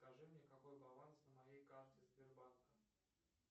скажи мне какой баланс на моей карте сбербанка